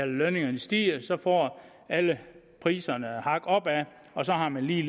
lønningerne stiger får alle priserne et hak opad og så har man lige